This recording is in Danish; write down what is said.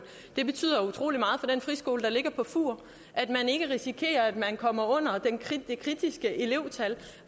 det betyder utrolig meget for den friskole der ligger på fur at de ikke risikerer at komme under det kritiske elevtal